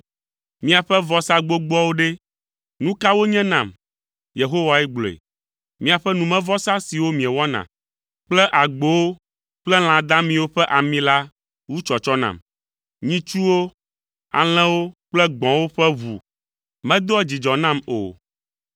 “Miaƒe vɔsa gbogboawo ɖe, nu ka wonye nam?” Yehowae gblɔe. “Miaƒe numevɔsa siwo miewɔna kple agbowo kple lã damiwo ƒe ami la, wu tsɔtsɔ nam. Nyitsuwo, alẽwo kple gbɔ̃wo ƒe ʋu medoa dzidzɔ nam o.